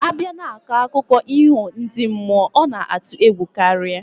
Abia na akụko iho ndi mmuo, ona atu egwu karia